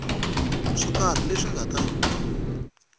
swo karhi leswi nga ta